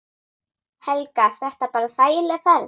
Helga: Þetta bara þægileg ferð?